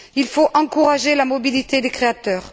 Il faut encourager la mobilité des créateurs.